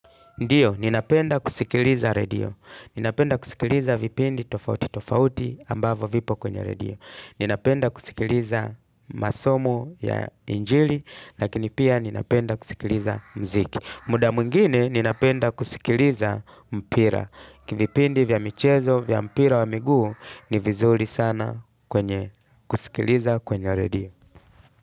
Ndiyo, ninapenda kusikiliza redio. Ninapenda kusikiliza vipindi tofauti tofauti ambavo vipo kwenye radio. Ninapenda kusikiliza masomo ya injili, lakini pia ninapenda kusikiliza muziki. Muda mwingine, ninapenda kusikiliza mpira. Kivipindi vya michezo, vya mpira wa miguu, ni vizuri sana kwenye kusikiliza kwenye redio.